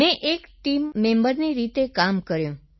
મેં એક ટીમ મેમ્બરની રીતે કામ કર્યું સર